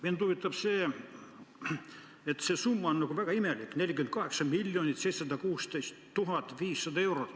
Mind huvitab see, et see summa on nagu väga imelik, 48 716 500 eurot.